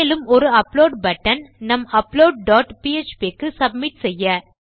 மேலும் ஒரு upload button நம் அப்லோட் டாட் பிஎச்பி க்கு சப்மிட் செய்ய